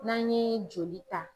N'an ɲe joli ta